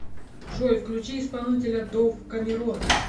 джой включи исполнителя дов камерон